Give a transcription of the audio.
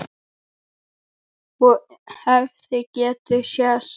Og hefði getað sést.